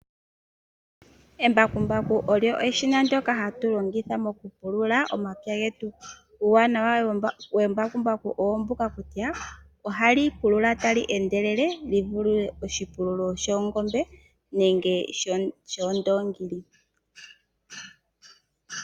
Embakumbaku olyo eshina ndyoka hatu longitha mokupulula omapya getu. Uuwanawa wembakumbaku oombuka kutya ohali pulula tali endelele livule shoongombe nenge shoondoongi.